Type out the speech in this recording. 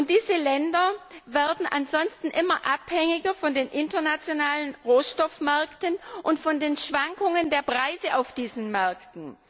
Diese Länder werden ansonsten immer abhängiger von den internationalen Rohstoffmärkten und von den Schwankungen der Preise auf diesen Märkten.